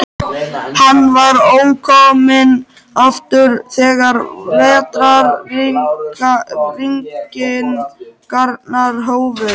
Hann var ókominn aftur þegar vetrarrigningarnar hófust.